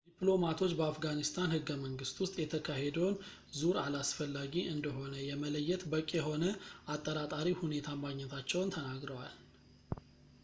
ዲፕሎማቶች በአፍጋኒስታን ህገ-መንግስት ውስጥ ፣ የተካሄደውን ዙር አላስፈላጊ እንደሆነ ለመለየት በቂ የሆነ አጠራጣሪ ሁኔታ ማግኘታቸውን ተናግረዋል